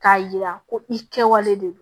K'a yira ko i kɛwale de don